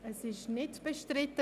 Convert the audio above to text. – Er ist nicht bestritten.